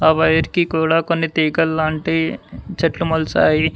ఆ వైర్ కి కూడా కొన్ని తీగలాంటివి చెట్లు మొల్చాయి.